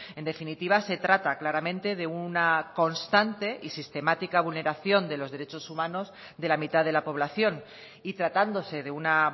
en definitiva se trata claramente de una constante y sistemática vulneración de los derechos humanos de la mitad de la población y tratándose de una